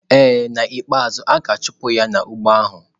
Ee, n'ikpeazụ, a ga-achụpụ ya n'ugbo ahụ.